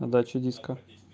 отдачу диска